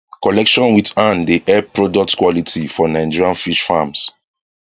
collection with hand dey help products quality for nigerian fish farms